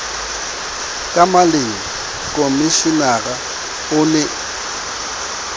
ka maleng komishenara o ne